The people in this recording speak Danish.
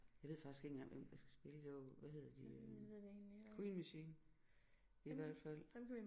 Jeg ved faktisk ikke engang hvem der skal spille i år hvad hedder de øh Queen Machine i hvert fald